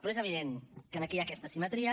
però és evident que en aquí hi ha aquesta asimetria